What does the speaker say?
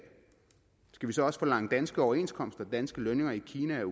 skal vi så også forlange danske overenskomster og danske lønninger i kina og